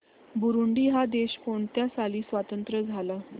Burundi हा देश कोणत्या साली स्वातंत्र्य झाला